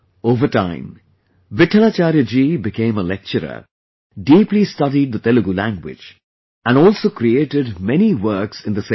Over time Vittlachary ji, became a lecturer, deeply studied the Telugu language and also created many works in the same